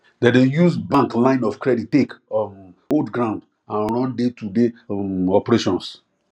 dem dey use bank line of credit take um hold ground and run daytoday um operations